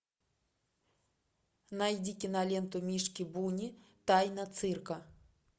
найди киноленту мишки буни тайна цирка